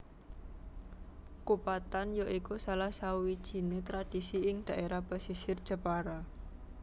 Kupatan ya iku salah sawijiné tradisi ing dhaérah pesisir Jepara